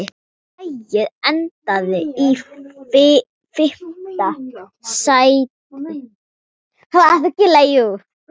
Lagið endaði í fimmta sæti.